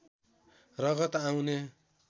रगत आउने